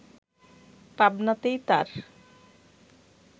পাবনাতেই তার